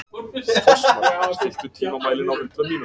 Fossmar, stilltu tímamælinn á hundrað mínútur.